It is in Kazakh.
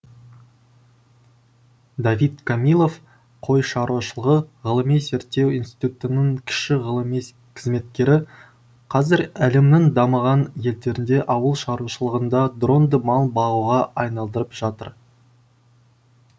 давид камилов қой шаруашылығы ғылыми зерттеу институтының кіші ғылыми қызметкері қазір әлемнің дамыған елдерінде ауыл шаруашылығында дронды мал бағуға айналдырып жатыр